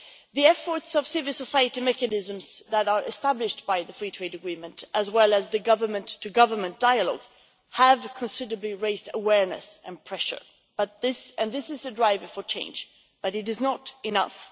The efforts of civil society mechanisms that are established by the free trade agreement, as well as the government to government dialogue, have considerably raised awareness and pressure, and this is a driver for change but it is not enough.